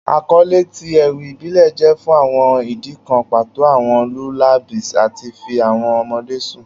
Akọle ti ewi ibile jẹ fun awọn idi kan pato, awọn lullabies lati fi awọn ọmọde sun